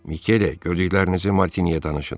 Mikele, gördüklərinizi Martiniyə danışın.